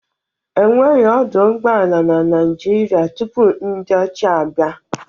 Enweghị ọdọ ụgbọala na Naịjirịa tupu na ndị ọcha abịa